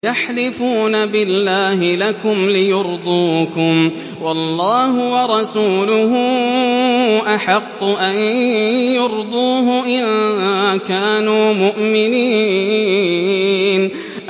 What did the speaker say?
يَحْلِفُونَ بِاللَّهِ لَكُمْ لِيُرْضُوكُمْ وَاللَّهُ وَرَسُولُهُ أَحَقُّ أَن يُرْضُوهُ إِن كَانُوا مُؤْمِنِينَ